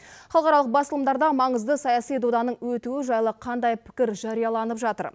халықаралық басылымдарда маңызды саяси доданың өтуі жайлы қандай пікір жарияланып жатыр